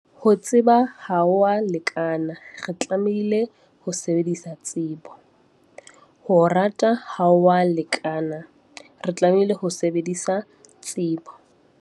Ho tseba ha ho a lekana, re tlamehile ho sebedisa tsebo. Ho rata ha ho a lekana, re tlamehile ho sebedisa tsebo.